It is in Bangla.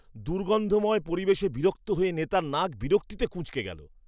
দুর্গন্ধময় পরিবেশে বিরক্ত হয়ে নেতার নাক বিরক্তিতে কুঁচকে গেলো।